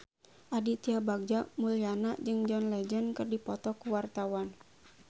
Aditya Bagja Mulyana jeung John Legend keur dipoto ku wartawan